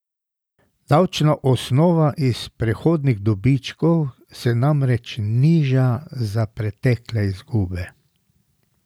Davčna osnova iz prihodnjih dobičkov se namreč niža za pretekle izgube.